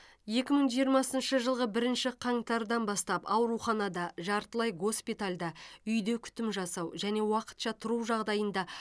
екі мың жиырмасыншы жылғы бірінші қаңтардан бастап ауруханада жартылай госпитальда үйде күтім жасау және уақытша тұру жағдайында